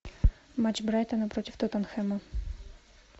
матч брайтона против тоттенхэма